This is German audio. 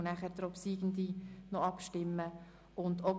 Anschliessend stimmen wir über die Obsiegende ab.